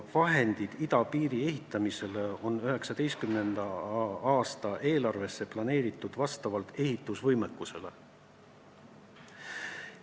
Vahendid idapiiri ehitamiseks on 2019. aasta eelarvesse planeeritud vastavalt ehitusvõimekusele.